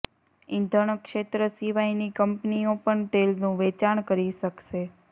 ઈંધણ ક્ષેત્ર સિવાયની કંપનીઓ પણ તેલનું વેચાણ કરી શકશે